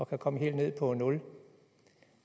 kan komme helt ned på nul